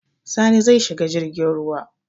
Sani zai shiga jirgin ruwa.